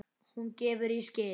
Hún gefur í skyn.